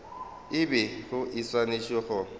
e bego e swanetše go